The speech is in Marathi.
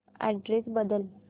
अॅड्रेस बदल